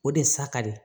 O de ye saka ye